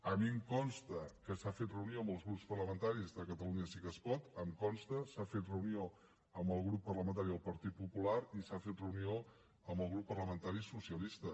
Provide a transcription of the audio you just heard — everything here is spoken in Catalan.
a mi em consta que s’ha fet reunió amb el grup parlamentari de catalunya sí que es pot em consta s’ha fet reunió amb el grup parlamentari del partit popular i s’ha fet reunió amb el grup parlamentari socialista